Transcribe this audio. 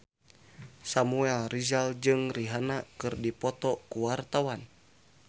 Samuel Rizal jeung Rihanna keur dipoto ku wartawan